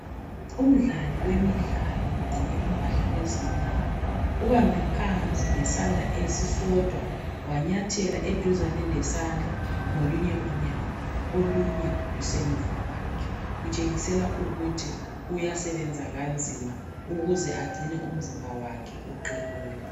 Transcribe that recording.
Umdlali wemidlalo ugqoke impahla ezimnyama ubambe phansi ngesandla esisodwa wanyathela eduzane lesandla ngolunye unyawo olunye lusemuva kwakhe .Kutshengisela ukuthi uyasebenza kanzima ukuze agcine umzimba wakhe uqinile